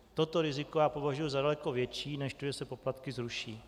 Toto riziko já považuji za daleko větší než to, že se poplatky zruší.